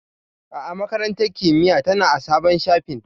A'a, Makarantar Kimiyya tana a sabon shafin.